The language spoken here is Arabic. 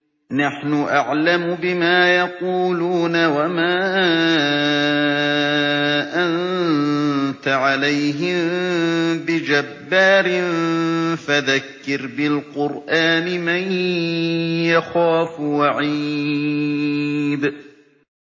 نَّحْنُ أَعْلَمُ بِمَا يَقُولُونَ ۖ وَمَا أَنتَ عَلَيْهِم بِجَبَّارٍ ۖ فَذَكِّرْ بِالْقُرْآنِ مَن يَخَافُ وَعِيدِ